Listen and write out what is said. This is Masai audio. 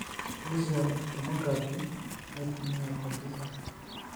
axial tomography naitumia komputer.